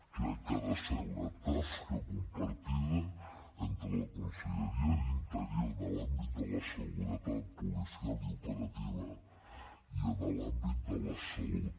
crec que ha de ser una tasca compartida entre la conselleria d’interior de l’àmbit de la seguretat policial i operativa i de l’àmbit de la salut